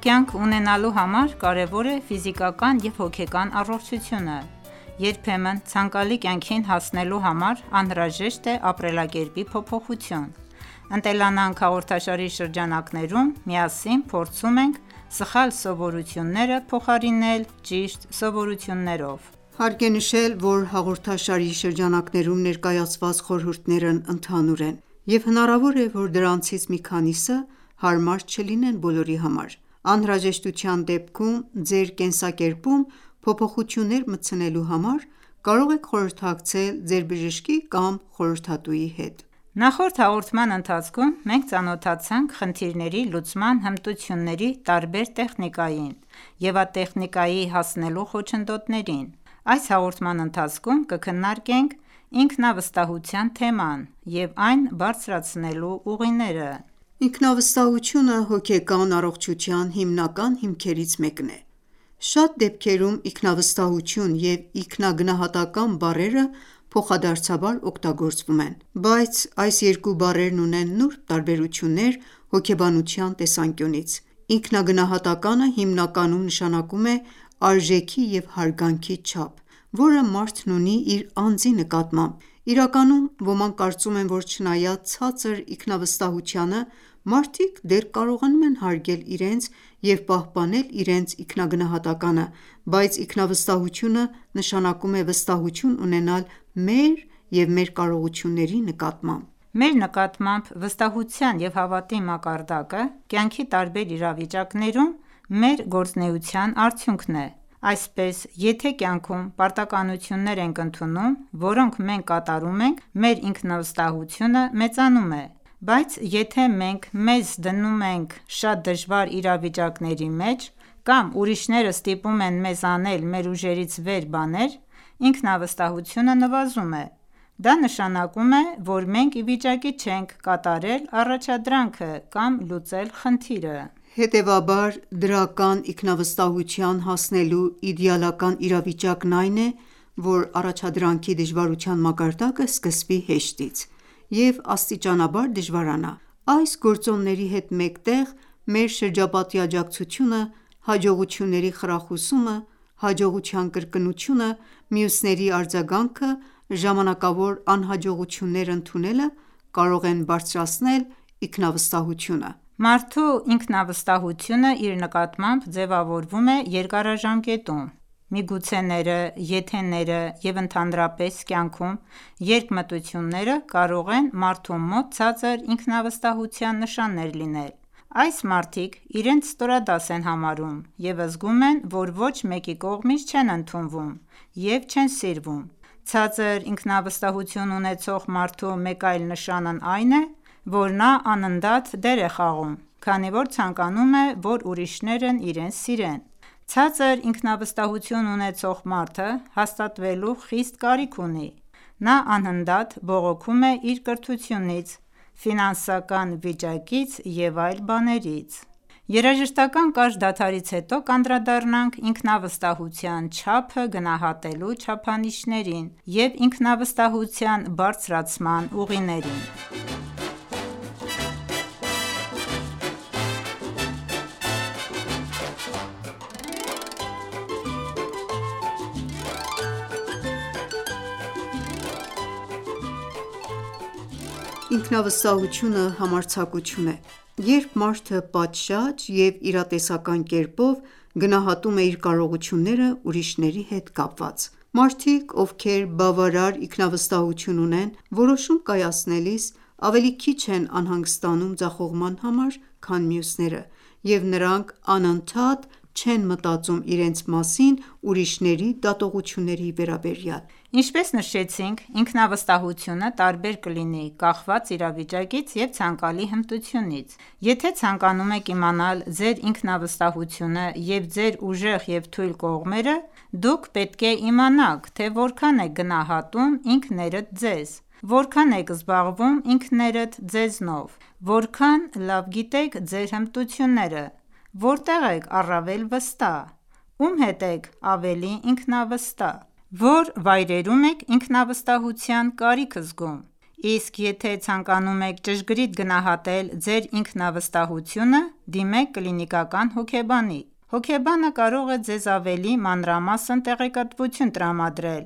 կյանք ունենալու համար կարևոր է ֆիզիկական և հոգեկան առողջությունը։ Երբեմն ցանկալի կյանքին հասնելու համար անհրաժեշտ է ապրելակերպի փոփոխություն։ «Ընտելանանք» հաղորդաշարի շրջանակներում միասին փորձում ենք սխալ սովորությունները փոխարինել ճիշտ սովորություններով։ Հարկ է նշել, որ հաղորդաշարի շրջանակներում ներկայացված խորհուրդներն ընդհանուր են, և հնարավոր է, որ դրանցից մի քանիսը հարմար չլինեն բոլորի համար: Անհրաժեշտության դեպքում ձեր կենսակերպում փոփոխություններ մտցնելու համար կարող եք խորհրդակցել ձեր բժշկի կամ խորհրդատուի հետ: Նախորդ հաղորդման ընթացքում մենք ծանոթացանք խնդիրների լուծման հմտությունների տարբեր տեխնիկային և այդ տեխնիկայի հասնելու խոչընդոտներին: Այս հաղորդման ընթացքում կքննարկենք ինքնավստահության թեման և այն բարձրացնելու ուղիները: Ինքնավստահությունը հոգեկան առողջության հիմնական հիմքերից մեկն է։ Շատ դեպքերում ինքնավստահություն և ինքնագնահատական բառերը փոխադարձաբար օգտագործվում են: Բայց այս երկու բառերն ունեն նուրբ տարբերություններ հոգեբանության տեսանկյունից։ Ինքնագնահատականը հիմնականում նշանակում է արժեքի և հարգանքի չափ, որը մարդն ունի իր անձի նկատմամբ: Իրականում, ոմանք կարծում են, որ չնայած ցածր ինքնավստահությանը, մարդիկ դեռ կարողանում են հարգել իրենց և պահպանել իրենց ինքնագնահատականը, բայց ինքնավստահությունը նշանակում է վստահություն ունենալ մեր և մեր կարողությունների նկատմամբ: Մեր նկատմամբ վստահության և հավատի մակարդակը, կյանքի տարբեր իրավիճակներում մեր գործունեության արդյունքն է: Այսպես, եթե կյանքում պարտականություններ ենք ընդունում, որոնք մենք կատարում ենք, մեր ինքնավստահությունը մեծանում է, բայց եթե մենք մեզ դնում ենք շատ դժվար իրավիճակների մեջ, կամ ուրիշները ստիպում են մեզ անել մեր ուժերից վեր բաներ, ինքնավստահությունը նվազում է: Դա նշանակում է, որ մենք ի վիճակի չենք կատարել առաջադրանքը կամ լուծել խնդիրը: Հետևաբար, դրական ինքնավստահության հասնելու իդեալական իրավիճակն այն է, որ առաջադրանքի դժվարության մակարդակը սկսվի հեշտից և աստիճանաբար դժվարանա: Այս գործոնների հետ մեկտեղ, մեր շրջապատի աջակցությունը, հաջողությունների խրախուսումը, հաջողության կրկնությունը, մյուսների արձագանքը, ժամանակավոր անհաջողություններ ընդունելը, կարող են բարձրացնել ինքնավստահությունը: Մարդու ինքնավստահությունը իր նկատմամբ ձևավորվում է երկարաժամկետում։ Միգուցեները, եթեները, և ընդհանրապես կյանքում երկմտությունները կարող են մարդու մոտ ցածր ինքնավստահության նշաններ լինել։ Այս մարդիկ իրենց ստորադաս են համարում և զգում են, որ ոչ մեկի կողմից չեն ընդունվում ու չեն սիրվում։ Ցածր ինքնավստահություն ունեցող մարդու մեկ այլ նշանն այն է, որ նա անընդհատ դեր է խաղում, քանի որ ցանկանում է, որ ուրիշներն իրեն սիրեն: Ցածր ինքնավստահություն ունեցող մարդը հաստատվելու խիստ կարիք ունի: Նա անընդհատ բողոքում է իր կրթությունից, ֆինանսական վիճակից եւ այլ բաներից: Երաժշտական կարճ դադարից հետո կանդրադառնանք ինքնավստահության չափը գնահատելու չափանիշներին և ինքնավստահության բարձրացման ուղիներին: Ինքնավստահությունը համարձակություն է, երբ մարդը պատշաճ և իրատեսական կերպով գնահատում է իր կարողությունները ուրիշների հետ կապված: Մարդիկ, ովքեր բավարար ինքնավստահություն ունեն, որոշում կայացնելիս ավելի քիչ են անհանգստանում ձախողման համար, քան մյուսները, և նրանք անընդհատ չեն մտածում իրենց մասին ուրիշների դատողությունների վերաբերյալ: Ինչպես նշեցինք, ինքնավստահությունը տարբեր կլինի՝ կախված իրավիճակից և ցանկալի հմտությունից։ Եթե ցանկանում եք իմանալ ձեր ինքնավստահությունը և ձեր ուժեղ և թույլ կողմերը, դուք պետք է իմանաք, թե որքան եք գնահատում ինքներդ ձեզ: Որքա՞ն եք զբաղվում ինքներդ ձեզնով: Որքա՞ն լավ գիտեք ձեր հմտությունները: Որտե՞ղ եք առավել վստահ: Ո՞ւմ հետ եք ավելի ինքնավստահ: Ո՞ր վայրերում եք ինքնավստահության կարիք զգում: Իսկ եթե ցանկանում եք ճշգրիտ գնահատել ձեր ինքնավստահությունը, դիմեք կլինիկական հոգեբանի: Հոգեբանը կարող է ձեզ ավելի մանրամասն տեղեկատվություն տրամադրել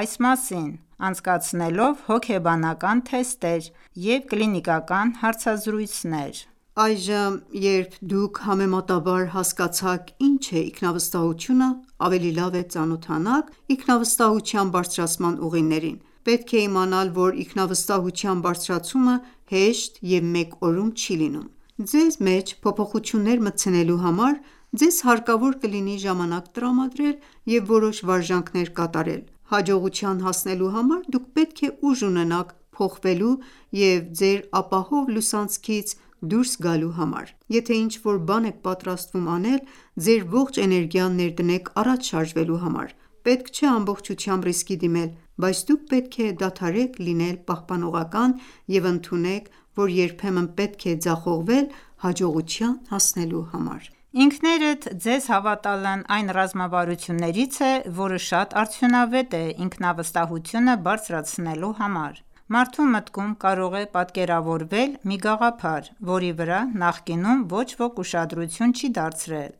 այս մասին՝ անցկացնելով հոգեբանական թեստեր և կլինիկական հարցազրույցներ: Այժմ, երբ դուք համեմատաբար հասկացաք ինչ է ինքնավստահությունը, ավելի լավ է ծանոթանաք ինքնավստահության բարձրացման ուղիներին։ Պետք է իմանալ, որ ինքնավստահության բարձրացումը հեշտ և մեկ օրում չի լինում։ Ձեր մեջ փոփոխություններ մտցնելու համար ձեզ հարկավոր կլինի ժամանակ տրամադրել և որոշ վարժանքներ կատարել: Հաջողության հասնելու համար դուք պետք է ուժ ունենաք փոխվելու և ձեր ապահով լուսանցքից դուրս գալու համար: Եթե ինչ-որ բան եք պատրաստվում անել, ձեր ողջ էներգիան ներդնեք առաջ շարժվելու համար: Պետք չէ ամբողջությամբ ռիսկի դիմել: Բայց դուք պետք է դադարեք լինել պահպանողական և ընդունեք, որ երբեմն պետք է ձախողվել հաջողության հասնելու համար: Ինքներդ ձեզ հավատալն այն ռազմավարություններից է, որը շատ արդյունավետ է ինքնավստահությունը բարձրացնելու համար: Մարդու մտքում կարող է պատկերավորվել մի գաղափար, որի վրա նախկինում ոչ ոք ուշադրություն չի դարձրել: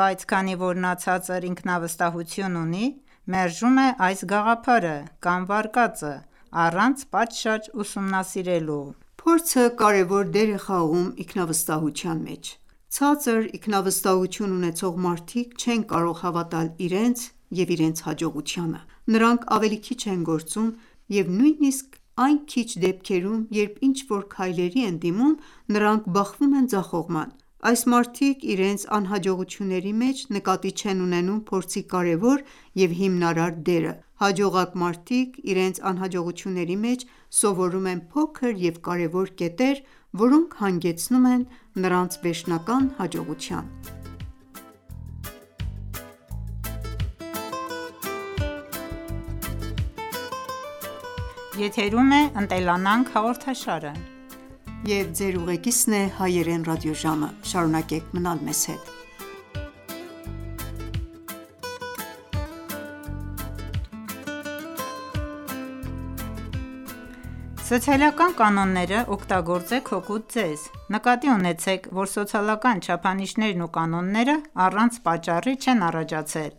Բայց քանի որ նա ցածր ինքնավստահություն ունի, մերժում է այս գաղափարը կամ վարկածը առանց պատշաճ ուսումնասիրելու: Փորձը կարևոր դեր է խաղում ինքնավստահության մեջ։ Ցածր ինքնավստահություն ունեցող մարդիկ չեն կարող հավատալ իրենց և իրենց հաջողությանը։ Նրանք ավելի քիչ են գործում և նույնիսկ այն քիչ դեպքերում, երբ ինչ-որ քայլերի են դիմում, նրանք բախվում են ձախողման: Այս մարդիկ իրենց անհաջողությունների մեջ նկատի չեն ունենում փորձի կարևոր և հիմնարար դերը։ Հաջողակ մարդիկ իրենց անհաջողությունների մեջ սովորում են փոքր և կարևոր կետեր, որոնք հանգեցնում են նրանց վերջնական հաջողության: Սոցիալական կանոնները օգտագործեք հօգուտ ձեզ: Նկատի ունեցեք, որ սոցիալական չափանիշներն ու կանոնները առանց պատճառի չեն առաջացել,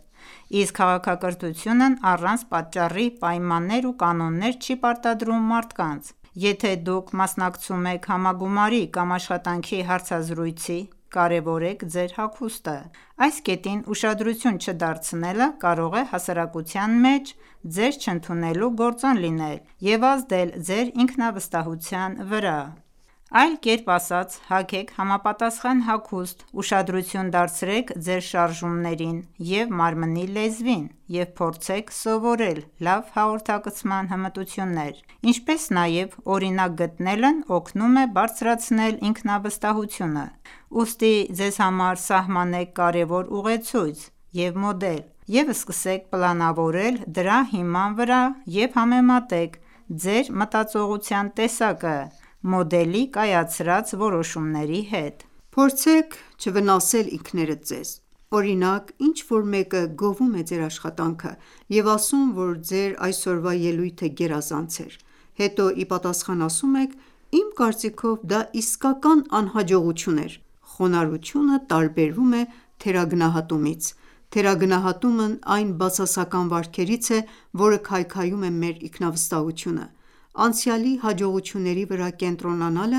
իսկ քաղաքակրթությունն առանց պատճառի պայմաններ ու կանոններ չի պարտադրում մարդկանց: Եթե դուք մասնակցում եք համագումարի կամ աշխատանքի հարցազրույցի կարևորեք ձեր հագուստը: Այս կետին ուշադրություն չդարձնելը կարող է հասարակության մեջ ձեզ չընդունելու գործոն լինել և ազդել ձեր ինքնավստահության վրա: Այլ կերպ ասած՝ հագեք համապատասխան հագուստ, ուշադրություն դարձրեք ձեր շարժումներին և մարմնի լեզվին և փորձեք սովորել լավ հաղորդակցման հմտություններ, ինչպես նաև օրինակ գտնելն օգնում է բարձրացնել ինքնավստահությունը: Ուստի, ձեզ համար սահմանեք կարևոր ուղեցույց և մոդել և սկսեք պլանավորել դրա հիման վրա և համեմատեք ձեր մտածողության տեսակը մոդելի կայացրած որոշումների հետ: Փորձեք չվնասել ինքներդ ձեզ։ Օրինակ, ինչ-որ մեկը գովում է ձեր աշխատանքը և ասում, որ ձեր այսօրվա ելույթը գերազանց էր։ Հետո ի պատասխան ասում եք՝ «Իմ կարծիքով դա իսկական անհաջողություն էր»։ Խոնարհությունը տարբերվում է թերագնահատումից: Թերագնահատումն այն բացասական վարքերից է, որը քայքայում է մեր ինքնավստահությունը: Անցյալի հաջողությունների վրա կենտրոնանալը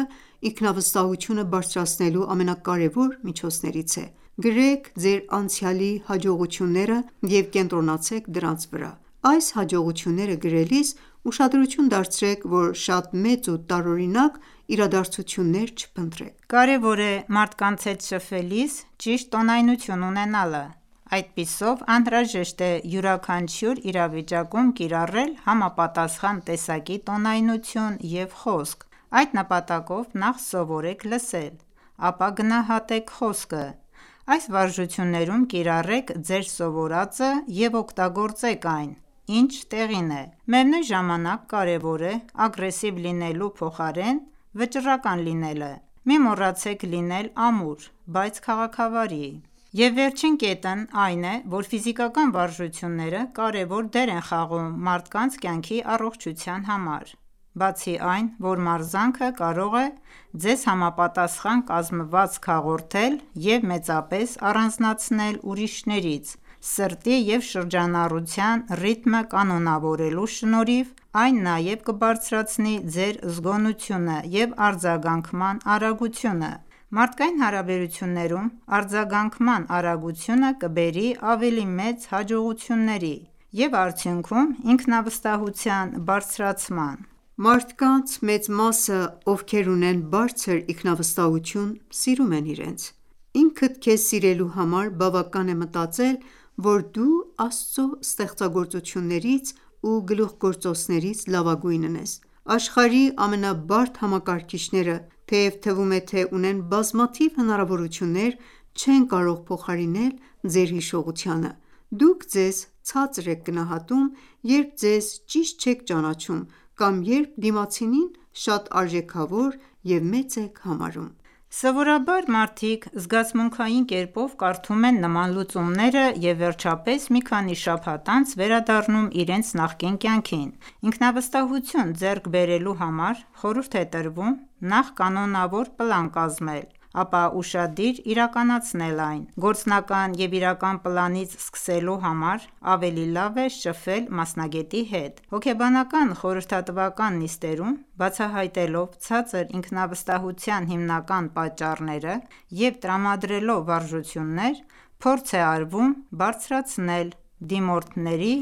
ինքնավստահությունը բարձրացնելու ամենակարևոր միջոցներից է։ Գրեք ձեր անցյալի հաջողությունները և կենտրոնացեք դրանց վրա: Այս հաջողությունները գրելիս ուշադրություն դարձրեք, որ շատ մեծ ու տարօրինակ իրադարձություններ չփնտրեք։ Կարևոր է մարդկանց հետ շփվելիս ճիշտ տոնայնություն ունենալը: Այդպիսով անհրաժեշտ է յուրաքանչյուր իրավիճակում կիրառել համապատասխան տեսակի տոնայնություն և խոսք։ Այդ նպատակով նախ սովորեք լսել, ապա գնահատեք խոսքը: Այս վարժություններում կիրառեք ձեր սովորածը և օգտագործեք այն, ինչ տեղին է: Միևնույն ժամանակ կարևոր է ագրեսիվ լինելու փոխարեն վճռական լինելը. Մի մոռացեք լինել ամուր, բայց քաղաքավարի: Եվ վերջին կետն այն է, որ ֆիզիկական վարժությունները կարևոր դեր են խաղում մարդկանց կյանքի առողջության համար։ Բացի այն, որ մարզանքը կարող է ձեզ համապատասխան կազմվածք հաղորդել և մեծապես առանձնացնել ուրիշներից, սրտի և շնչառության ռիթմը կանոնավորելու շնորհիվ այն նաև կբարձրացնի ձեր զգոնությունը և արձագանքման արագությունը: Մարդկային հարաբերություններում արձագանքման արագությունը կբերի ավելի մեծ հաջողությունների և արդյունքում՝ ինքնավստահության բարձրացման։ Մարդկանց մեծ մասը, ովքեր ունեն բարձր ինքնավստահություն, սիրում են իրենց։ Ինքդ քեզ սիրելու համար բավական է մտածել, որ դու Աստծո ստեղծագործություններից ու գլուխգործոցներից լավագույնն ես։ Աշխարհի ամենաբարդ համակարգիչները, թեև թվում է, թե ունեն բազմաթիվ հնարավորություններ, չեն կարող փոխարինել ձեր հիշողությանը: Դուք ձեզ ցածր եք գնահատում, երբ ձեզ ճիշտ չեք ճանաչում կամ երբ դիմացինին շատ արժեքավոր և մեծ եք համարում։ Սովորաբար մարդիկ զգացմունքային կերպով կարդում են նման լուծումները եւ վերջապես մի քանի շաբաթ անց վերադառնում իրենց նախկին կյանքին։ Ինքնավստահություն ձեռք բերելու համար խորհուրդ է տրվում նախ կանոնավոր պլան կազմել, ապա ուշադիր իրականացնել այն։ Գործնական և իրական պլանից սկսելու համար ավելի լավ է շփվել մասնագետի հետ: Հոգեբանական խորհրդատվական նիստերում, բացահայտելով ցածր ինքնավստահության հիմնական պատճառները և տրամադրելով վարժություններ, փորձ է արվում բարձրացնել դիմորդների